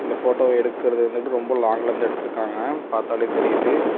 இந்த போட்டோவ எடுக்குறது வந்து ரொம்ப லோங் இருந்து எடுத்துருக்காங்க. பாத்தாலே தெரியுது.